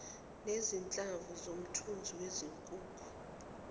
nezinhlamvu zomthunzi wezinkukhu